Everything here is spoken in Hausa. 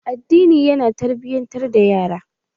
Addini ya na tarbiyatar da yara.